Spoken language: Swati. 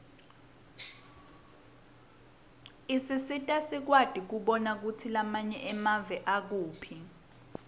isisita sikwati kubona kutsi lamanye emave akuphi